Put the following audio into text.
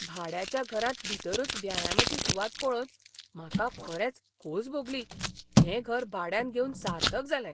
भाड्याच्या घरांत भितरूच व्यायामाची सुवात पळोवन म्हाका खरेंच खोस भोगली हें घर भाड्यान घेवन सार्थक जालें.